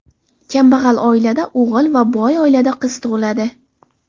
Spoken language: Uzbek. Kambag‘al oilada o‘g‘il va boy oilada qiz tug‘iladi.